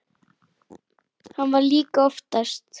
Hann vann líka oftast.